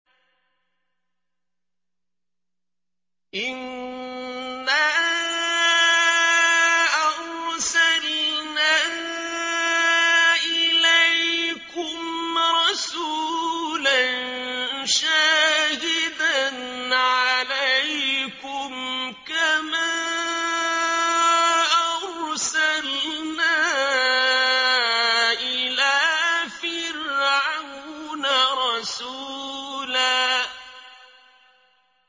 إِنَّا أَرْسَلْنَا إِلَيْكُمْ رَسُولًا شَاهِدًا عَلَيْكُمْ كَمَا أَرْسَلْنَا إِلَىٰ فِرْعَوْنَ رَسُولًا